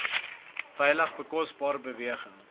veilige bekostigbare beweging